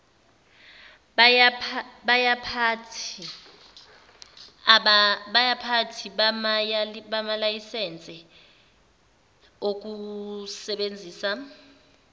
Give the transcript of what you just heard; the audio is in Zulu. yabaphathi bamalayisense okusebenzisa